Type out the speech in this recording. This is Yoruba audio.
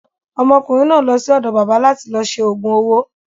Ọmọkùnrin náà ń lọ sí ọ̀dọ̀ bábà láti lọ ṣe òògùn owó.